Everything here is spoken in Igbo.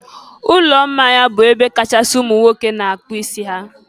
ụlọ mmanya bụ ebe ọkachasị ụmụ nwoke na-akpụ isi ha.